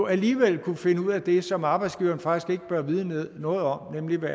alligevel kunne finde ud af det som arbejdsgiveren faktisk ikke bør vide noget om nemlig hvad